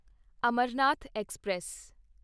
Amarnath express